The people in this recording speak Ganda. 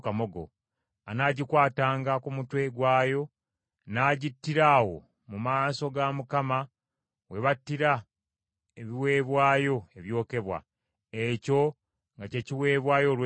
Anagikwatanga ku mutwe gwayo, n’agittira awo mu maaso ga Mukama we battira ebiweebwayo ebyokebwa. Ekyo nga kye kiweebwayo olw’ekibi.